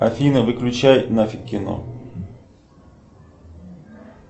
афина выключай нафиг кино